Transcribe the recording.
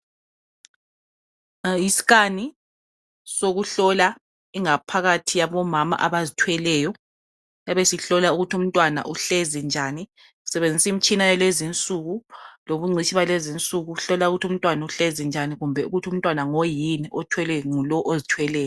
yi scan sokuhlola ingaphakathi yabo mama abazithweleyo ebesihlola ukuthi umntwana uhlezi njani sebenzisa imitshina yakulezinsuku lobungcitshi yakulezinsuku ukuhlola ukuthi umntwana uhlezi njani kumbe ukuthi umntwana ngoyini othwelwe ngulowo ozithweleyo